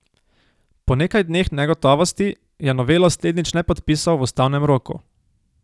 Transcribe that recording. Po nekaj dneh negotovosti je novelo slednjič le podpisal v ustavnem roku.